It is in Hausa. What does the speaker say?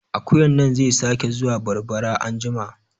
Akuyan nan zai sake zuwa barbara anjima